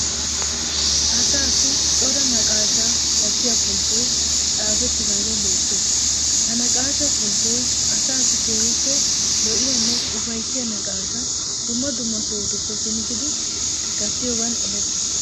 Asaassi cora naqaashshaa gattiya pulittoy xaafettidagee beettees. Ha naqaashshaa pulittoy asaassi keehippe lo'iyanne ufayissiya naqaashsha dumma sohutuppe pilggidi gattiyogan erettees.